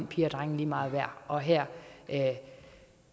piger og drenge lige meget værd og her